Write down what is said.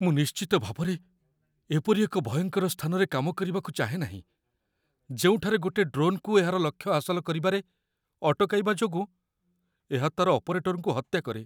ମୁଁ ନିଶ୍ଚିତ ଭାବରେ ଏପରି ଏକ ଭୟଙ୍କର ସ୍ଥାନରେ କାମ କରିବାକୁ ଚାହେଁ ନାହିଁ ଯେଉଁଠାରେ ଗୋଟେ ଡ୍ରୋନ୍‌କୁ ଏହାର ଲକ୍ଷ୍ୟ ହାସଲ କରିବାରେ ଅଟକାଇବା ଯୋଗୁଁ ଏହା ତା'ର ଅପରେଟରକୁ ହତ୍ୟା କରେ।